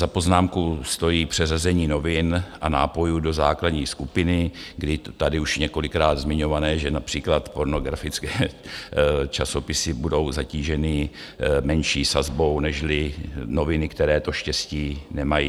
Za poznámku stojí přeřazení novin a nápojů do základní skupiny, kdy tady už několikrát zmiňované, že například pornografické časopisy budou zatíženy menší sazbou nežli noviny, které to štěstí nemají.